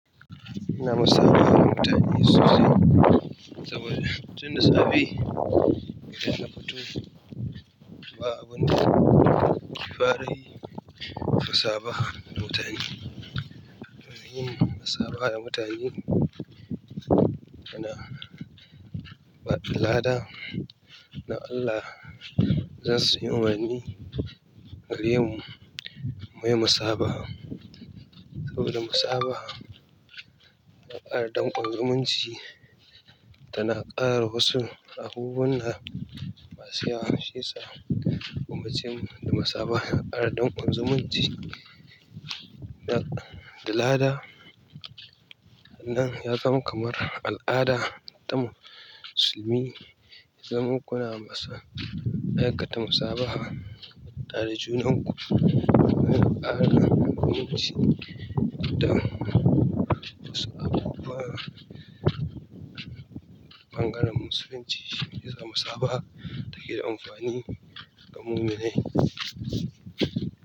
Ina musabaha da mutane sosai, saboda tun da safe idan na fito, to ba abinda na ke fara yi sai musabaha da mutane. To yin musabaha da mutane yana bada lada na Allah. Zan sanya umarni ga yawan mai musaba saboda musaba a al'adun ƙungiyarmun ji tana ƙara wasu abubuwan da masu yawon shi yasa kuma cin musaba a al'adun ƙungiyarmun ji. Dalalada nan ya zama kamar al'ada ta musulmi. Zamu kunna masa da ya kata musabaha tare da junanmu. Al'adar ƙungiyarmun ji ita ce abubuwa ɓangaren Musulunci shine zama saba take da amfani ga mummunai.